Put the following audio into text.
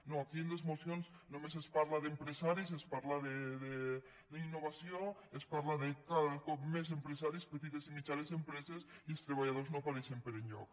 no aquí en les mocions només es parla d’empresaris es parla d’innovació es parla de cada cop més empresaris petites i mitjanes empreses i els treballadors no apareixen per enlloc